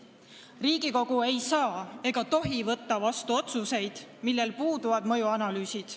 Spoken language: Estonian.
Riigikogu ei saa ega tohi võtta vastu otsuseid, mille kohta puuduvad mõjuanalüüsid.